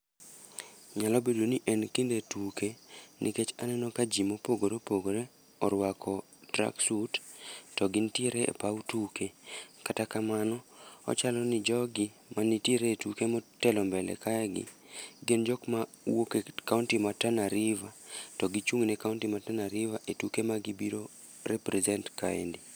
Nyalo bedo ni en kinde tuke, nikech aneno ka ji mopogore opogore orwako track suit to gintiere e paw tuke. Kata kamano, ochalo ni jogi mani tiere e tuke motelo mbele kae gi, gin jok ma wuoke kaonti ma Tana River. To gichung' ne kaonti ma Tana River e tuke ma gibiro represent kaendi.